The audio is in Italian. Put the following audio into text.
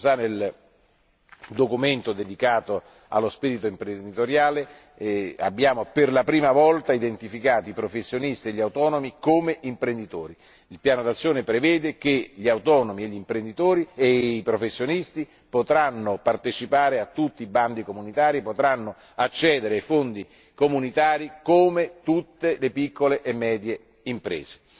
Nel documento dedicato allo spirito imprenditoriale, abbiamo per la prima volta identificato i professionisti e gli autonomi come imprenditori. Il piano d'azione prevede che gli autonomi e i professionisti potranno partecipare a tutti i bandi comunitari, potranno accedere ai fondi comunitari come tutte le piccole e medie imprese.